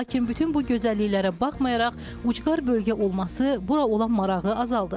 Lakin bütün bu gözəlliklərə baxmayaraq, ucqar bölgə olması bura olan marağı azaldır.